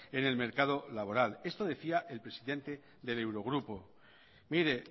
en el mercado laboral esto decía el presidente del eurogrupo mire